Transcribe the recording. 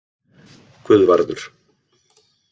Guðvarður